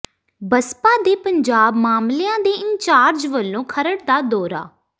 ਬਸਪਾ ਦੇ ਪੰਜਾਬ ਮਾਮਲਿਆਂ ਦੇ ਇੰਚਾਰਜ ਵੱਲੋਂ ਖਰੜ ਦਾ ਦੌਰਾ